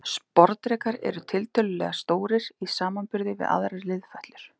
Sporðdrekar eru tiltölulega stórir í samanburði við aðrar liðfætlur.